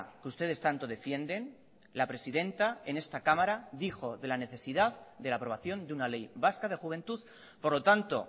que ustedes tanto defienden la presidenta en esta cámara dijo de la necesidad de la aprobación de una ley vasca de juventud por lo tanto